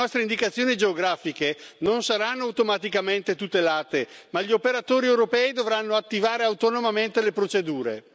Le nostre indicazioni geografiche non saranno automaticamente tutelate, ma gli operatori europei dovranno attivare autonomamente le procedure.